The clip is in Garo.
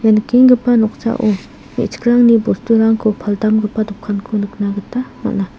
nikenggipa noksao me·chikrangni bosturangko paldamgipa dokanko nikna gita man·a.